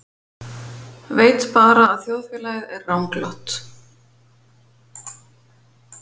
Veit bara að þjóðfélagið er ranglátt.